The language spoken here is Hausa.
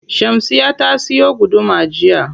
Shamsiyya ta siyo guduma jiya.